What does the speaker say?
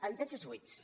habitatges buits